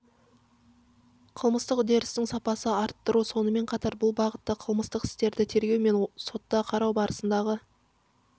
қылмыстық үдерістің сапасы арттыру сонымен қатар бұл бағытта қылмыстық істерді тергеу мен сотта қарау барысындағы